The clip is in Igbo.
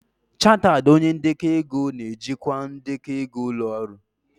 Chartered onye ndekọ ego na-ejikwa ndekọ ego ụlọ ọrụ.